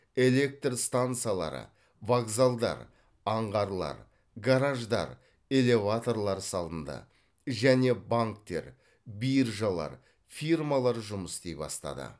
электр стансалары вокзалдар аңғарлар гараждар элеваторлар салынды және банктер биржалар фирмалар жұмыс істей бастады